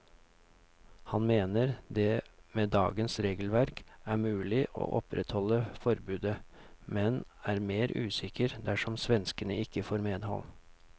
Han mener det med dagens regelverk er mulig å opprettholde forbudet, men er mer usikker dersom svenskene ikke får medhold.